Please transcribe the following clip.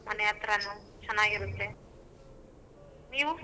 ಮನೆ ಹತ್ರನು ಚನ್ನಾಗಿರುತ್ತೆ ನೀವು ?